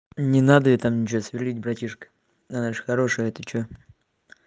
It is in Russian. не надо ей там ничего сверлить братишка она же хорошая ты что